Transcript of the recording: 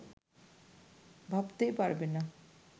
ভাবতেই পারবে না